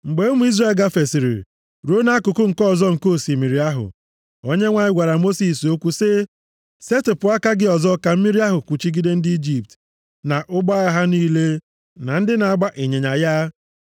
Mgbe ụmụ Izrel gafesịrị ruo nʼakụkụ nke ọzọ nke osimiri ahụ, Onyenwe anyị gwara Mosis okwu sị, “Setịpụ aka gị ọzọ ka mmiri ahụ kpuchigide ndị Ijipt, na ụgbọ agha ha niile, na ndị na-agba ịnyịnya ya.”